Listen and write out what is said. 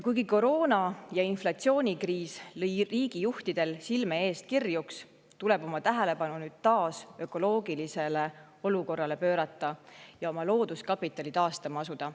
Kuigi koroona‑ ja inflatsioonikriis lõid riigijuhtidel silme eest kirjuks, tuleb oma tähelepanu nüüd taas ökoloogilisele olukorrale pöörata ja looduskapitali taastama asuda.